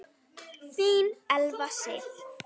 Þín Elfa Sif.